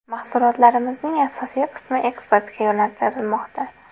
Mahsulotlarimizning asosiy qismi eksportga yo‘naltirilmoqda.